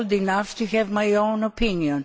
I am old enough to have my own opinion.